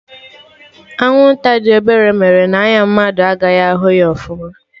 Anwụnta dị obere mere n'anya mmadụ agaghị ahụ ya ọfụma